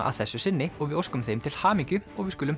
að þessu sinni og við óskum þeim til hamingju við skulum